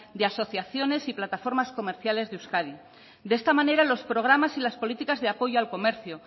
de asociaciones y plataformas comerciales de euskadi de esta manera los programas y las políticas de apoyo al comercio